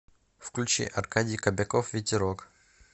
включи аркадий кобяков ветерок